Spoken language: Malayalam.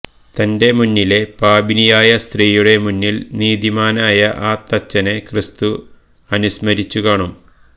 തന്റെ മുന്നിലെ പാപിനിയായ സ്ത്രീയുടെ മുന്നില് നീതിമാനായ ആ തച്ചനെ ക്രിസ്തു അനുസ്മരിച്ചു കാണും